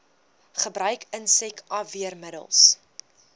gebruik insek afweermiddels